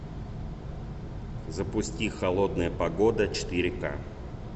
запусти холодная погода четыре к